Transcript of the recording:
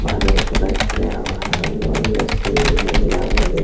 बादल पुरा सजाया हुआ है बढ़िया बढ़िया सीन दिखाई दे रहा है।